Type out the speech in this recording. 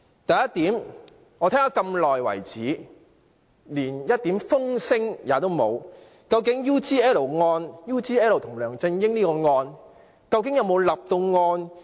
第一點，我聽了那麼久，連一點風聲也沒有，究竟 UGL 與梁振英這案件有否立案？